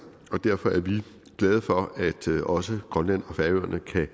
og derfor er vi glade for at også grønland og færøerne kan